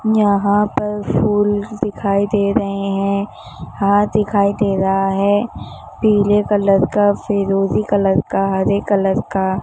यहां पर फूल दिखाई दे रहे हैं हाथ दिखाई दे रहा है पीले कलर का फिरोजी कलर का हरे कलर का--